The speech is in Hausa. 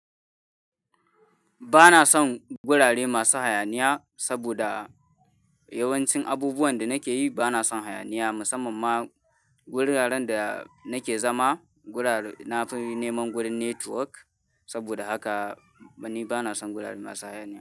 Ba na son gurare masu hayaniya saboda yawancin abubuwan da nake yi ba na son hayaniya. Musamman ma guraren da nake zama, gurar-- na fi neman gurin network. Saboda haka ni ba na son gurare masu hayaniya.